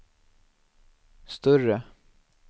större